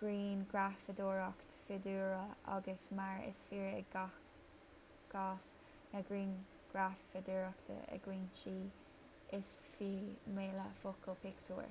ghrianghrafadóireacht fiadhúlra ach mar is fíor i gcás na grianghrafadóireachta i gcoitinne is fiú míle focal pictiúr